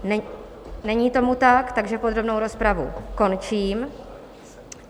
Není tomu tak, takže podrobnou rozpravu končím.